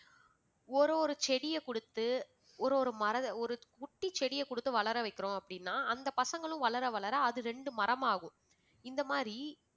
ஒரு ஒரு செடிய குடுத்து ஒரு ஒரு மர~ ஒரு குட்டி செடிய குடுத்து வளர வைக்குறோம் அப்படின்னா அந்த பசங்களும் வளர வளர அது ரெண்டு மரமாகும் இந்த மாதிரி